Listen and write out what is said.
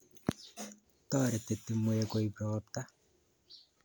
Toreti timwek koip ropta.